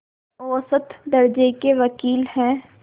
औसत दर्ज़े के वक़ील हैं